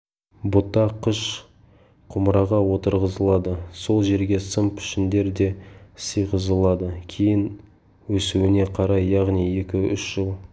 бұта қыш құмыраға отырғызылады сол жерге сым пішіндер де сыйғызылады кейін өсуіне қарай яғни екі-үш жыл